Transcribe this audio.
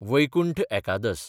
वैकुंठ एकादस